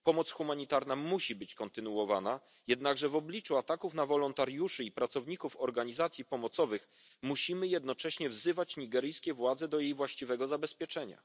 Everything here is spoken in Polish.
Pomoc humanitarna musi być kontynuowana, jednakże w obliczu ataków na wolontariuszy i pracowników organizacji pomocowych musimy jednocześnie wzywać nigeryjskie władze do jej właściwego zabezpieczenia.